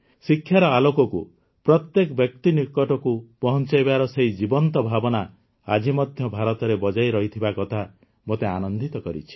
ଶିକ୍ଷାର ଆଲୋକକୁ ପ୍ରତ୍ୟେକ ବ୍ୟକ୍ତି ନିକଟକୁ ପହଂଚାଇବାର ସେହି ଜୀବନ୍ତ ଭାବନା ଆଜି ମଧ୍ୟ ଭାରତରେ ବଜାୟ ରହିଥିବା କଥା ମୋତେ ଆନନ୍ଦିତ କରିଛି